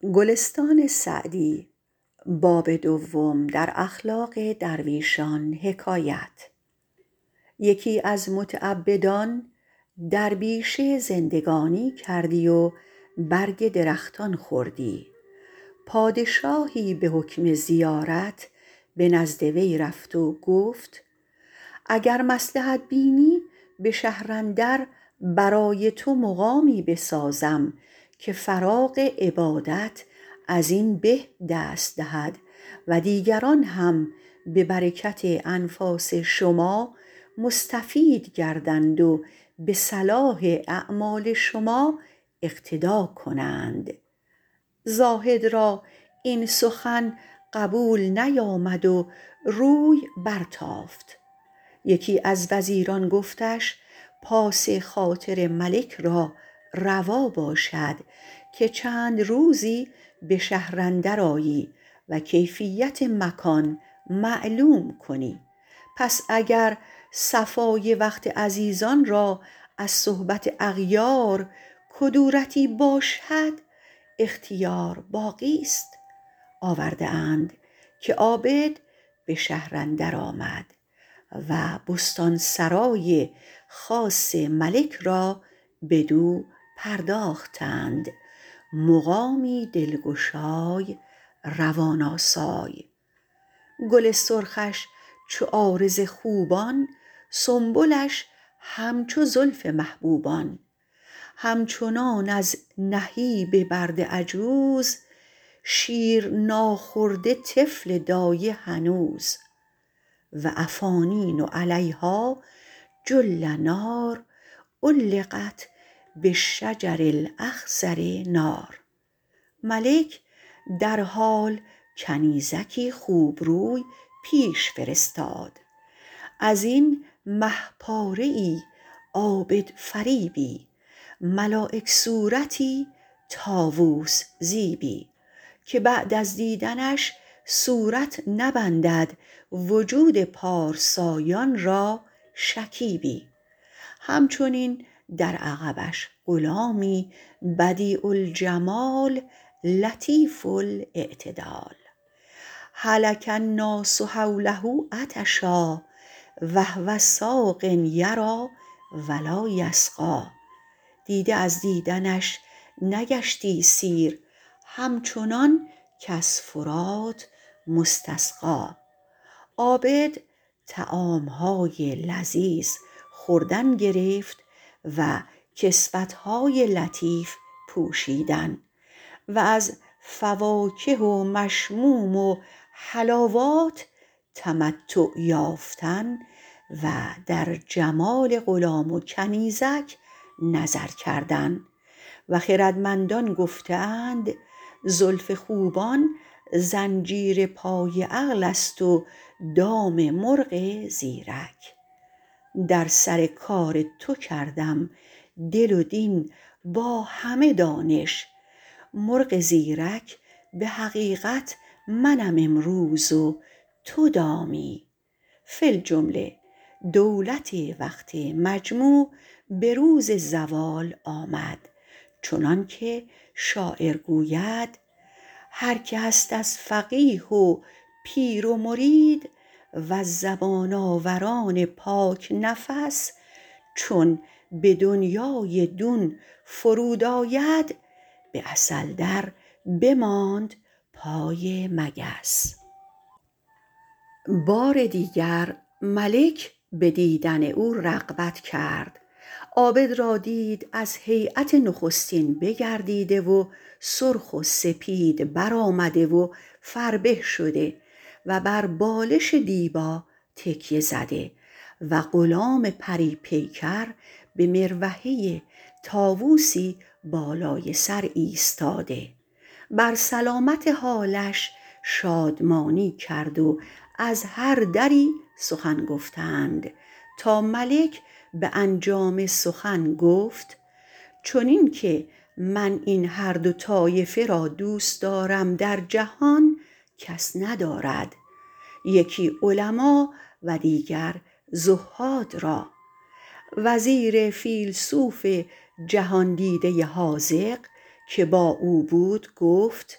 یکی از متعبدان در بیشه زندگانی کردی و برگ درختان خوردی پادشاهی به حکم زیارت به نزدیک وی رفت و گفت اگر مصلحت بینی به شهر اندر برای تو مقامی بسازم که فراغ عبادت از این به دست دهد و دیگران هم به برکت انفاس شما مستفید گردند و به صلاح اعمال شما اقتدا کنند زاهد را این سخن قبول نیامد و روی برتافت یکی از وزیران گفتش پاس خاطر ملک را روا باشد که چند روزی به شهر اندر آیی و کیفیت مکان معلوم کنی پس اگر صفای وقت عزیزان را از صحبت اغیار کدورتی باشد اختیار باقیست آورده اند که عابد به شهر اندر آمد و بستان سرای خاص ملک را بدو پرداختند مقامی دلگشای روان آسای گل سرخش چو عارض خوبان سنبلش همچو زلف محبوبان همچنان از نهیب برد عجوز شیر ناخورده طفل دایه هنوز و افانین علیها جلنار علقت بالشجر الاخضر نار ملک درحال کنیزکی خوبروی پیش فرستاد ازین مه پاره ای عابدفریبی ملایک صورتی طاووس زیبی که بعد از دیدنش صورت نبندد وجود پارسایان را شکیبی همچنین در عقبش غلامی بدیع الجمال لطیف الاعتدال هلک الناس حوله عطشا و هو ساق یریٰ و لاٰ یسقی دیده از دیدنش نگشتی سیر همچنان کز فرات مستسقی عابد طعام های لذیذ خوردن گرفت و کسوت های لطیف پوشیدن و از فواکه و مشموم و حلاوات تمتع یافتن و در جمال غلام و کنیزک نظر کردن و خردمندان گفته اند زلف خوبان زنجیر پای عقل است و دام مرغ زیرک در سر کار تو کردم دل و دین با همه دانش مرغ زیرک به حقیقت منم امروز و تو دامی فی الجمله دولت وقت مجموع به روز زوال آمد چنان که شاعر گوید هر که هست از فقیه و پیر و مرید وز زبان آوران پاک نفس چون به دنیای دون فرود آید به عسل در بماند پای مگس بار دیگر ملک به دیدن او رغبت کرد عابد را دید از هیأت نخستین بگردیده و سرخ و سپید بر آمده و فربه شده و بر بالش دیبا تکیه زده و غلام پری پیکر به مروحه طاووسی بالای سر ایستاده بر سلامت حالش شادمانی کرد و از هر دری سخن گفتند تا ملک به انجام سخن گفت چنین که من این هر دو طایفه را دوست دارم در جهان کس ندارد یکی علما و دیگر زهاد را وزیر فیلسوف جهاندیده حاذق که با او بود گفت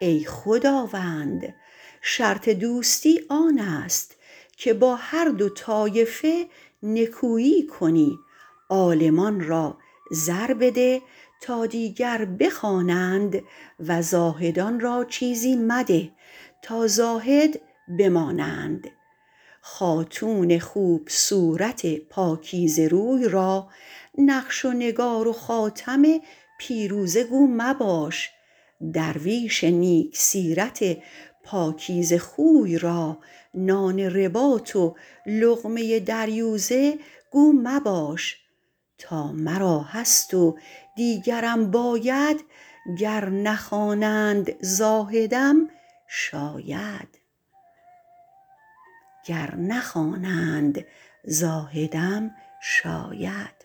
ای خداوند شرط دوستی آن است که با هر دو طایفه نکویی کنی عالمان را زر بده تا دیگر بخوانند و زاهدان را چیزی مده تا زاهد بمانند خاتون خوب صورت پاکیزه روی را نقش و نگار و خاتم پیروزه گو مباش درویش نیک سیرت پاکیزه خوی را نان رباط و لقمه دریوزه گو مباش تا مرا هست و دیگرم باید گر نخوانند زاهدم شاید